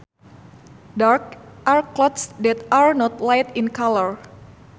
Darks are clothes that are not light in colour